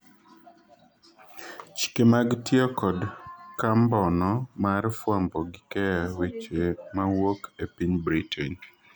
chike mag tiyo kod kambo'no mar fwambo gi keyo weche mawuok e piny Britain